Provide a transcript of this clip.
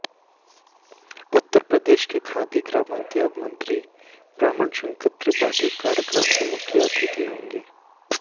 उत्तर प्रदेश के खादी ग्रामोद्योग मंत्री ब्रह्मा शंकर त्रिपाठी कार्यक्रम के मुख्य अतिथि होंगे